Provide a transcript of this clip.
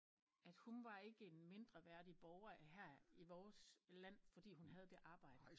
At hun var ikke en mindreværdig borger af her i vores land fordi hun havde det arbejde